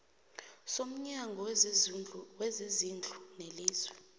somnyango wezezindlu welizwe